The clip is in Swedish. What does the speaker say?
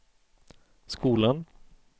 skolan